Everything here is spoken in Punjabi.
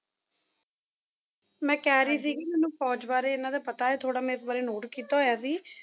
ਮੈਂ ਕਹਿ ਰਹੀ ਸੀਗੀ ਮੈਨੂੰ ਫੌਜ ਬਾਰੇ ਇਹਨਾਂ ਦਾ ਪਤਾ ਹੈ ਥੋੜਾ ਮੈਂ ਇਸ ਬਾਰੇ note ਕੀਤਾ ਹੋਇਆ ਸੀ